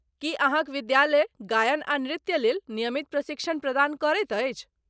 की अहाँक विद्यालय गायन आ नृत्यलेल नियमित प्रशिक्षण प्रदान करैत अछि?